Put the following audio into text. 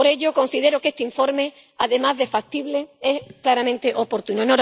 Por ello, considero que este informe, además de factible, es claramente oportuno.